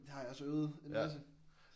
Det har jeg også øvet. En anelse